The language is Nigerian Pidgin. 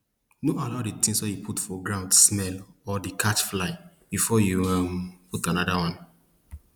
no allow the things wey you put for ground smell or dey catch fly before you um put anoda one